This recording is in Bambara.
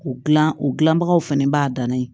O gilan o dilanbagaw fɛnɛ b'a danna ye